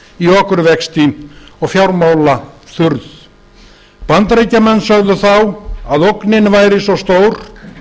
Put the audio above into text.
í okurvexti og fjármálaþurrð bandaríkjamenn sögðu þá að ógnin væri svo stór